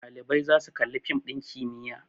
Ɗalibai za su Kalli fim din kimiyya